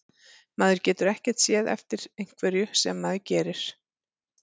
Maður getur ekkert séð eftir einhverju sem maður gerir.